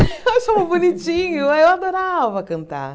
Eu achava bonitinho, aí eu adorava cantar.